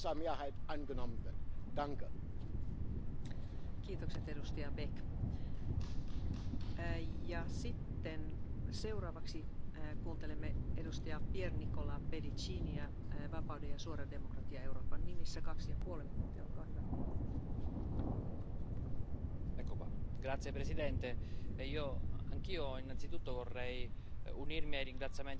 Et cela concerne bien évidemment des formes particulièrement multirésistantes de la tuberculose. Il ne pointe pas non plus du doigt la libre circulation des biens dans le commerce des produits agroalimentaires carnés issus de pays qui ne respectent pas les normes européennes et cela dans le cadre, pourtant, de traités officiels avec l'Europe.